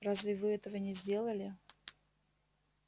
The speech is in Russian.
разве вы этого не сделали